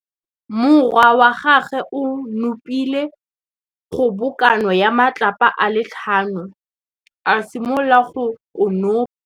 Morwa wa gagwe o nopile kgobokanô ya matlapa a le tlhano, a simolola go konopa.